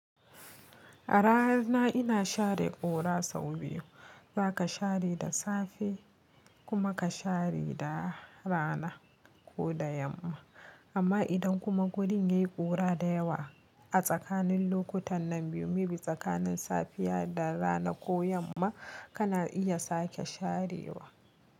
A rana ina share ƙura sau biyu. Zaka share da safe kuma ka share da rana ko da yamma. Amma idan kuma wurin yayi ƙura da yawa a tsakanin lokutan nan biyu, mebi tsakanin safiya da rana ko yamma kana iya sake sharewa.